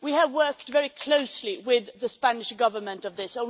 We have worked very closely with the Spanish Government on this.